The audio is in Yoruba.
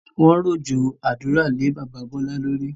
Wọn rọ̀jọ̀ àdúrà lè bàbá Bọlá lórí